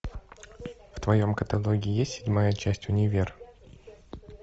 в твоем каталоге есть седьмая часть универ